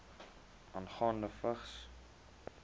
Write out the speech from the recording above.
aangaande vigs